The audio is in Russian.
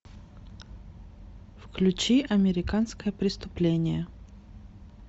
включи американское преступление